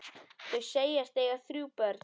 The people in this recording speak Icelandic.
Þau segjast eiga þrjú börn.